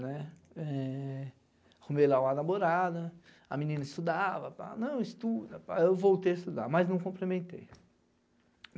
né, eh... arrumei lá uma namorada, a menina estudava, pá. Não, estuda pá. eu voltei a estudar, mas não complementei.